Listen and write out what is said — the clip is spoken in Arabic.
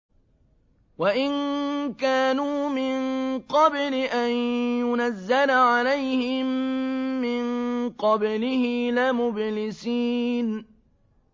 وَإِن كَانُوا مِن قَبْلِ أَن يُنَزَّلَ عَلَيْهِم مِّن قَبْلِهِ لَمُبْلِسِينَ